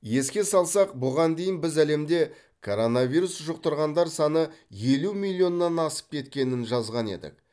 еске салсақ бұған дейін біз әлемде коронавирус жұқтырғандар саны елу миллионнан асып кеткенін жазған едік